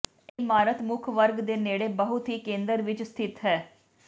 ਇਹ ਇਮਾਰਤ ਮੁੱਖ ਵਰਗ ਦੇ ਨੇੜੇ ਬਹੁਤ ਹੀ ਕੇਂਦਰ ਵਿੱਚ ਸਥਿਤ ਹੈ